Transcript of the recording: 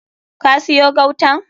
Ka siyo gautan?